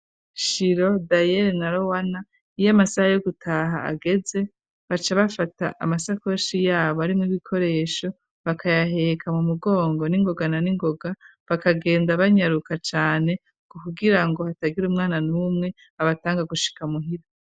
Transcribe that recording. Shiro, Daiele na Lowana iyo amasaha yo gutaha ageze baca bafata amasakoshi yabo arimwo ibikoresho bakayaheka mu mugongo n'ingogana n'ingoga bakagenda banyaruka cane kugirango hatagira umwana numwe abatanga gushika muhira.